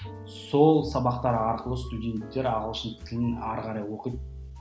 сол сабақтар арқылы студенттер ағылшын тілін ары қарай оқиды